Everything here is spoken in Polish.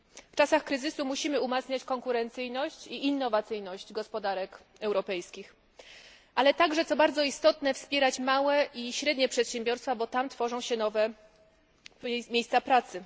W czasach kryzysu musimy umacniać konkurencyjność i innowacyjność gospodarek europejskich, ale także co bardzo istotne wspierać małe i średnie przedsiębiorstwa, bo tam tworzą się nowe miejsca pracy.